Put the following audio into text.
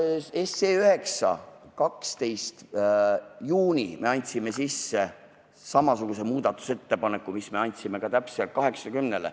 Seaduseelnõu 9 kohta andsime me 12. juunil sisse samasuguse muudatusettepaneku, mille me andsime ka eelnõule 80.